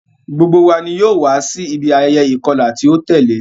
Gbogbo wa ni yoo wa si ibi ayẹyẹ ikọla ti o tẹle.